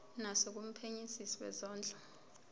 naso kumphenyisisi wezondlo